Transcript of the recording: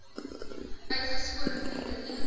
uitgesponne venter l